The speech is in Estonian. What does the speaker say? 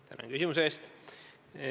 Tänan küsimuse eest!